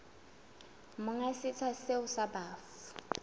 monga setsha seo sa bafu